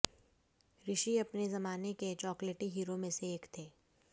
ऋषि अपने जमाने के चॉकलेटी हीरो में से एक थे